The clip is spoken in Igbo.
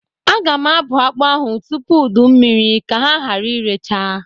Aga m abụ akpa ahụ tupu udu mmiri ka ha gara irecha.